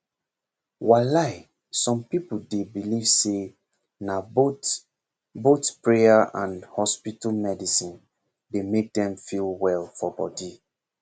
walai some people dey believe say na both both prayer and hospital medicine dey make dem feel well for body